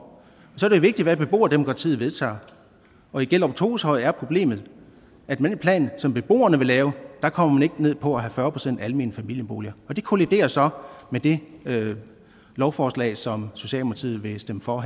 så er det jo vigtigt hvad beboerdemokratiet vedtager og i gjellerup toveshøj er problemet at med den plan som beboerne vil lave kommer man ikke ned på at have fyrre procent almene familieboliger det kolliderer så med det lovforslag som socialdemokratiet vil stemme for